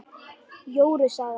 Jóru saga